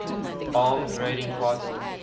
armed raiding party